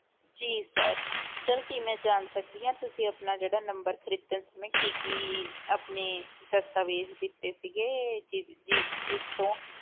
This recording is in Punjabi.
ਜੀ sir sir ਕੀ ਮੈਂ ਜਾਣ ਸਕਦੀ ਹਾਂ ਤੁਸੀਂ ਆਪਣਾ ਜਿਹੜਾ number ਖ਼ਰੀਦਣ ਸਮੇਂ ਕੀ ਕੀ ਆਪਣੇ ਦਸਤਾਵੇਜ਼ ਦਿੱਤੇ ਸੀਗੇ ਜਿ~ ਜਿ~ ਜਿਸ ਤੋਂ